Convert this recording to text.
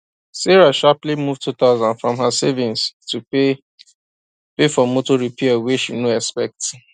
sarah sharply move 2000 from her savings to pay pay for motor repair way she no expect